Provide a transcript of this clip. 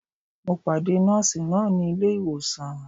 Mo pàdé Nọ́ọ̀sì náà ní ilé ìwòsàn